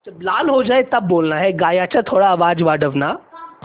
गाण्याचा थोडा आवाज वाढव ना